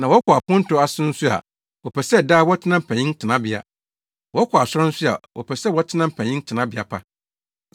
Na wɔkɔ aponto ase nso a, wɔpɛ sɛ daa wɔtena mpanyin tenabea; wɔkɔ asɔre nso a wɔpɛ sɛ wɔtena mpanyin tenabea pa.